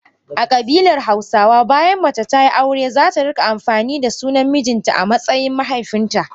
A kabilar hausawa bayan mace tayi aure zata rika amfani da sunan mijinta amatsayin na mahaifinta.